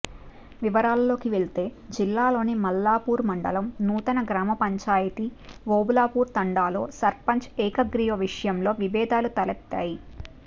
వివరాల్లోకి వెళ్తే జిల్లాలోని మల్లాపూర్ మండలం నూతన గ్రామపంచాయతీ ఓబులాపూర్ తండాలో సర్పంచ్ ఏకగ్రీవ విషయంలో విభేదాలు తలెత్తాయి